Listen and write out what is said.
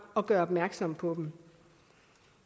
og gør opmærksom på dem